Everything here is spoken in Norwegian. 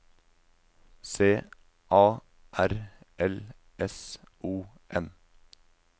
C A R L S O N